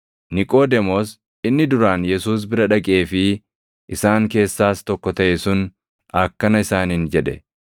Niqoodemoos inni duraan Yesuus bira dhaqee fi isaan keessaas tokko taʼe sun akkana isaaniin jedhe;